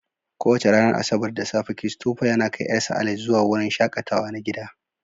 Kowace ranar Asabar da safe, Christopher yana kai ƴarsa Alice zuwa wurin shaƙatawa na gida.